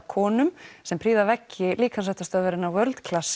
konum sem prýða veggi líkamsræktarstöðvarinnar World